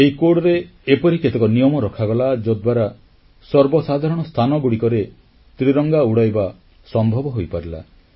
ଏହି କୋଡରେ ଏପରି କେତେକ ନିୟମ ରଖାଗଲା ଯଦ୍ୱାରା ସର୍ବସାଧାରଣ ସ୍ଥାନଗୁଡ଼ିକରେ ତ୍ରିରଙ୍ଗା ଉଡ଼ାଇବା ସମ୍ଭବ ହୋଇପାରିଲା